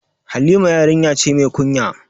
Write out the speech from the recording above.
Halima yarinya ce mai kunya